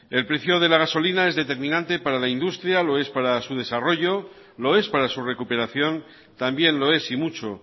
el precio de la gasolina es determinante para la industria lo es para su desarrollo lo es para su recuperación también lo es y mucho